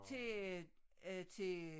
Til øh øh til øh